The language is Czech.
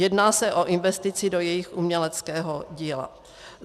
Jedná se o investici do jejich uměleckého díla.